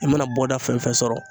I mana bɔ da fɛn fɛn fɛn sɔrɔ